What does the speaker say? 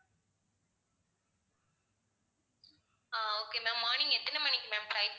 அஹ் okay ma'am morning எத்தனை மணிக்கு ma'am flight